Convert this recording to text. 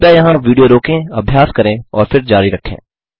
कृपया यहाँ विडियो रोकें अभ्यास करें और फिर जारी रखें